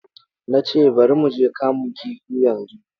Na ce, bari mu je kamun kifi yanzu!